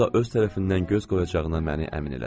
O da öz tərəfindən göz qoyacağına məni əmin elədi.